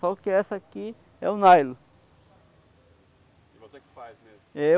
Só que essa aqui é o nylon.